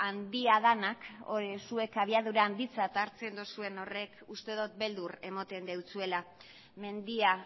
handia denak zuek abiadura handitzat hartzen duzuen horrek uste dut beldur ematen dizuela mendia